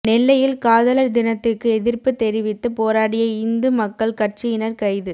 நெல்லையில் காதலர் தினத்துக்கு எதிர்ப்புத் தெரிவித்து போராடிய இந்து மக்கள் கட்சியினர் கைது